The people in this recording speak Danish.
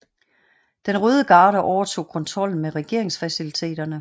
Den Røde Garde overtog kontrollen med regeringsfaciliteterne